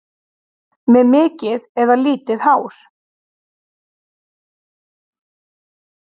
Með mikið eða lítið hár?